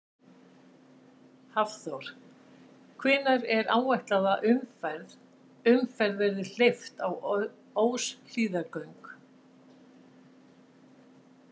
Hafþór: Hvenær er áætlað að umferð, umferð verði hleypt á Óshlíðargöng?